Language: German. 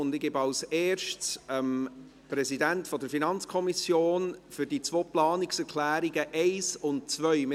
Ich gebe als Erstes dem Präsidenten der FiKo für die beiden Planungserklärungen 1 und 2 das Wort.